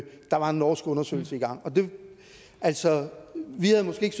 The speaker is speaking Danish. der var en norsk undersøgelse i gang altså vi havde måske